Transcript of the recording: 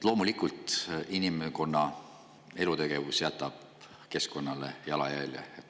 Loomulikult jätab inimkonna elutegevus keskkonnale jalajälje.